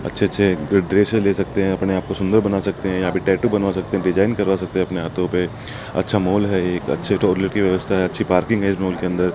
अच्छे अच्छे ड्रेस ले सकते हैं अपने आप को सुंदर बना सकते हैं यहां पे टैटू बनवा सकते हैं डिजाइन करवा सकते हैं अपने हाथों पे अच्छा मॉल है एक अच्छे टॉयलेट की व्यवस्था है अच्छी पार्किंग है इस मॉल के अंदर।